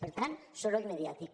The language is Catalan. per tant soroll mediàtic